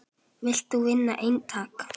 Vilt þú vinna eintak?